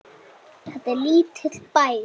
Þetta er lítill bær.